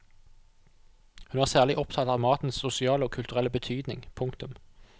Hun er særlig opptatt av matens sosiale og kulturelle betydning. punktum